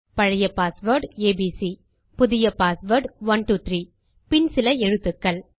பழைய password ABC புதிய password 123 பின் சில எழுத்துக்கள்